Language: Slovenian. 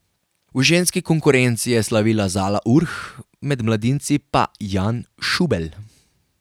V ženski konkurenci je slavila Zala Urh, med mladinci pa Jan Šubelj.